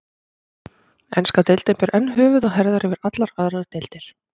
Enska deildin ber enn höfuð og herðar yfir allar aðrar deildir.